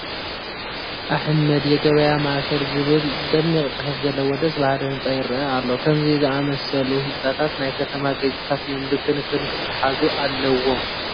ኣሕመድ የገበያ ማእከል ዝብል ደሚቕ ፅሑፍ ዘለዎ ደስ በሃሊ ህንፃ ይርአ ኣሎ፡፡ ከምዚ ዝኣምሰሉ ህንፃታት ናይ ከተማ ገይፅታት እዮም፡፡ ብክንክን ክተሓዙ ኣለዎም፡፡